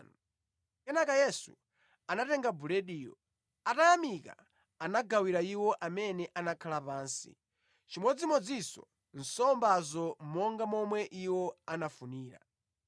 Kenaka Yesu anatenga bulediyo, atayamika anagawira iwo amene anakhala pansi, chimodzimodzinso nsombazo monga momwe iwo anafunira.